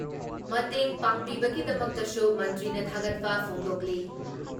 ꯃꯇꯦꯡ ꯄꯥꯡꯕꯤꯕꯒꯤꯗꯃꯛꯁꯨ ꯃꯟꯇ꯭ꯔꯤꯅ ꯊꯥꯒꯠꯄ ꯐꯣꯡꯗꯣꯛꯂꯤ ꯫